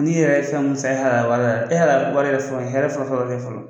N'i yɛrɛ ye fɛn mun san i halala wari la, e halala wari yɛrɛ sɔrɔ, o ye hɛrɛ fɔlɔ fɔlɔ fɔlɔ